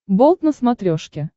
болт на смотрешке